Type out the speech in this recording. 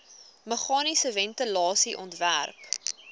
meganiese ventilasie ontwerp